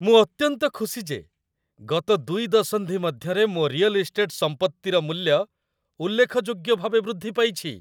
ମୁଁ ଅତ୍ୟନ୍ତ ଖୁସି ଯେ ଗତ ୨ ଦଶନ୍ଧି ମଧ୍ୟରେ ମୋ ରିଅଲ୍ ଇଷ୍ଟେଟ୍ ସମ୍ପତ୍ତିର ମୂଲ୍ୟ ଉଲ୍ଲେଖଯୋଗ୍ୟ ଭାବେ ବୃଦ୍ଧି ପାଇଛି।